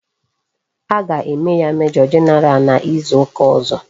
A ga eme ya major general na izu uka ozo